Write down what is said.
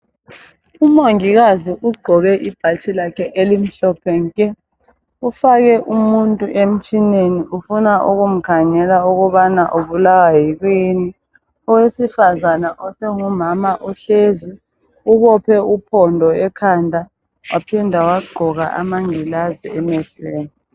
Umongikazi ugqoke ibhatshi lakhe elimhophe nke. Ufake umuntu emtshineni. Ufuna ukumkhangela ukubana ubulawa yikuyini. Owesifazana osengumama uhlezi ubophe uphondo ekhanda waphinda wagqoka amangilazi emehlweni.